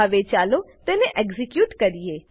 હવે ચાલો તેને એક્ઝીક્યુટ કરીએ